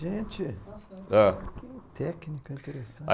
Gente! É. Que técnica interessante.